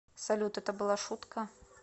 салют это была шутка